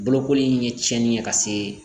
Bolokoli in ye tiɲɛni ye ka se